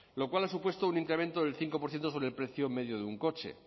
lo cual ha supuesto un incremento del cinco por ciento sobre el precio medio de un coche